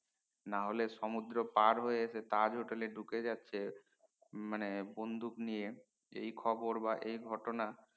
না হলে সমুদ্রেরে পার হয়ে এসে তাজ হোটেলে ঢুকে যাচ্ছে মানে বন্দুক নিয়ে এই খবর বা এই ঘটনা